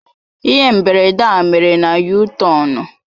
Ihe mberede a mere na yutọonu.